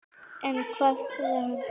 En hvað sagði hann?